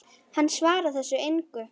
Hann svarar þessu engu.